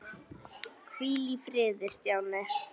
Hvíl í friði, Stjáni.